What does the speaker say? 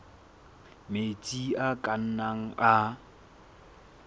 metsi a ka nnang a